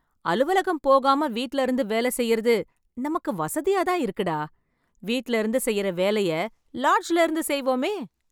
அலுவலகம் போகாம வீட்ல இருந்து வேல செய்றது, நமக்கு வசதியாதான் இருக்குடா... வீட்ல இருந்து செய்ற வேலைய, லாட்ஜ்ல இருந்து செய்வோமே...